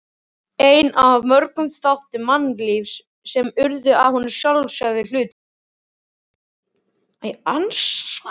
Einn af mörgum þáttum mannlífsins sem urðu honum sjálfsagður hlutur.